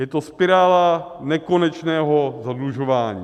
Je to spirála nekonečného zadlužování.